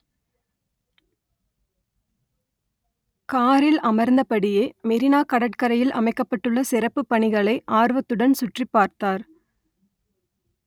கா‌ரி‌ல் அம‌ர்‌ந்தபடியே மெ‌ரினா கட‌ற்கரை‌யி‌ல் அமை‌க்‌க‌ப்ப‌ட்டு‌ள்ள ‌சிற‌ப்பு‌ப் ப‌ணிகளை ஆ‌ர்வ‌த்துட‌ன் சு‌ற்‌றி‌ப்பா‌ர்‌த்தா‌ர்